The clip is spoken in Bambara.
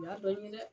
Y'a dɔn ɲinɛ dɛ